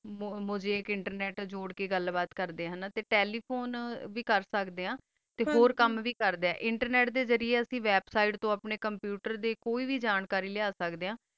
ਓਹੋ ਆ ਕਾ ਆਪਣਾ internet ਜੋਰ ਕਾ ਗਲ ਕਰ ਦਾ ਆ phone ਵੀ ਕਰ ਸਕਦਾ ਆ ਤਾ ਹੋਰ ਹੀ ਕਾਮ ਕਰਦਾ ਆ ਤਾ internet ਦਾ ਦੀ ਸੀੜੇ ਤੋ website computer ਦੀ ਕੋਈ ਵੀ ਜਾਣਕਾਰੀ ਲਾਯਾ ਸਕਦਾ ਆ